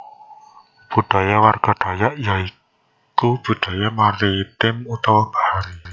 Budaya warga Dayak ya iku Budaya Maritim utawa bahari